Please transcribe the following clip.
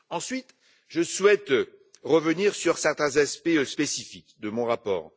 Ensuite, je souhaite revenir sur certains aspects spécifiques de mon rapport.